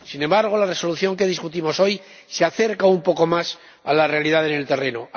Sin embargo, la Resolución que discutimos hoy se acerca un poco más a la realidad sobre el terreno.